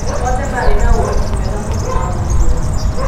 "Othe maarĩ na ũhoti mwega mũno wa gũtũũra".